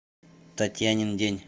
татьянин день